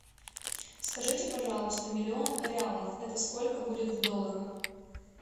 скажите пожалуйста миллион реалов это сколько будет в долларах